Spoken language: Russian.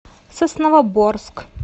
сосновоборск